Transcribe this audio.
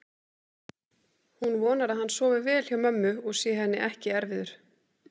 Hún vonar að hann sofi vel hjá mömmu og sé henni ekki erfiður.